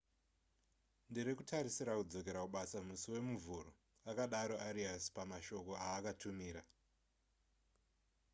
ndiri kutarisira kudzokera kubasa musi wemuvhuro akadaro arias pamashoko aakatumira